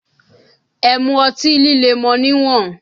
Ẹ mu ọtí líle mọ níwọ̀n!